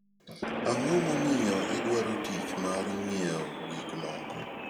Ang'o momiyo idwaro tich mar ng'iewo gik moko?